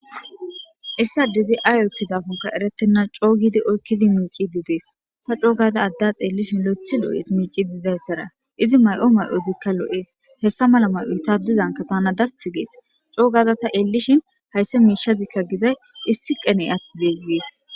Issadezi ay oykkidakonka erettenna coo gidi oykkidi miici didees ta coogada adda xeellishin lo7ethi loo7es miici didayssara izi may7o may7o zikka lo7ees hessa mala may7o hitadizanka tana dass gees coogaza ta eellishin haysse miishazikka gizay issi qeney atti deeggees.